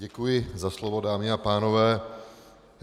Děkuji za slovo, dámy a pánové.